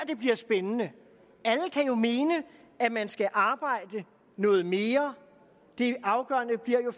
det bliver spændende alle kan jo mene at man skal arbejde noget mere det afgørende bliver jo